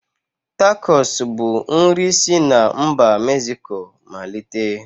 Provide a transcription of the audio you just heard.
Takos bu nri si n'mba Mezico malite